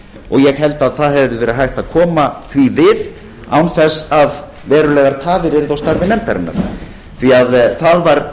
og ég held að því hefði verið hægt að koma við án þess að verulegar tafir yrðu á starfi nefndarinnar það var